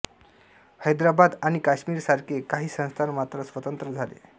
हैदराबाद आणि काश्मीर सारखे काही संस्थान मात्र स्वतंत्र झाले